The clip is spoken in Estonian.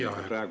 Teie aeg!